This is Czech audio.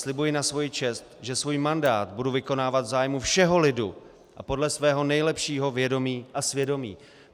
Slibuji na svoji čest, že svůj mandát budu vykonávat v zájmu všeho lidu a podle svého nejlepšího vědomí a svědomí.